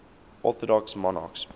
orthodox monarchs